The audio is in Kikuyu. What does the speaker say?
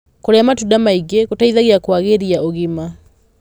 Kurĩa matunda maĩ ngi gũteithagia kuagirĩa ũgima